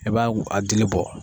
I b'a a dili bɔ.